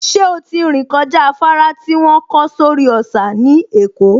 Ṣé ó ti rìn kọjá afárá tí wọ́n kọ́ sórí òsà ní Èkó?